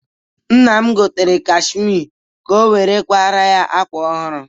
Nna m gotere kashmie ka o were kwara ya ákwà ọhụrụ.